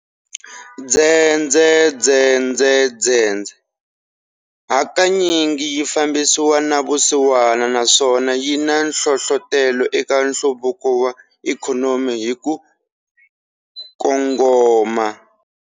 Dzedzedzedzedzedze hakanyingi yi fambisana na vusiwana naswona yina nhlohlotelo eka nhluvuko wa ikhonomi hi kukongoma.